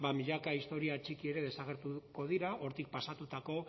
milaka historia txiki ere desagertuko dira hortik pasatutako